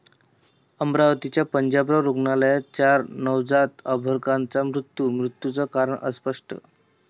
अमरावतीच्या पंजाबराव रुग्णालयात चार नवजात अर्भकांचा मृत्यू, मृत्यूचं कारण अस्पष्ट